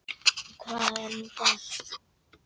Og hvað er nú það?